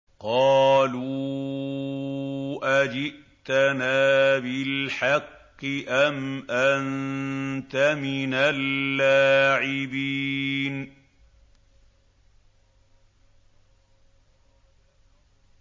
قَالُوا أَجِئْتَنَا بِالْحَقِّ أَمْ أَنتَ مِنَ اللَّاعِبِينَ